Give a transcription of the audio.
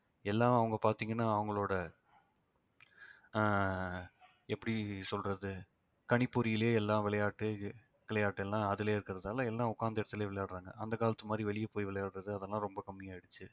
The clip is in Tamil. எல்லாம் அவங்க பார்த்தீங்கன்னா அவங்களோட ஆஹ் எப்படி சொல்றது கணிப்பொறியிலே எல்லா விளையாட்டு விளையாட்டு எல்லாம் அதிலேயே இருக்கிறதால எல்லாம் உட்கார்ந்து இடத்திலேயே விளையாடுறாங்க அந்த காலத்து மாதிரி வெளியே போய் விளையாடுறது அதெல்லாம் ரொம்ப கம்மி ஆயிடுச்சு